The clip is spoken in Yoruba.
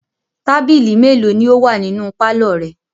Tábìlì mélòó ni ó wà nínú pálọ̀ rẹ?